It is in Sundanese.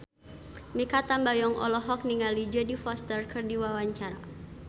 Mikha Tambayong olohok ningali Jodie Foster keur diwawancara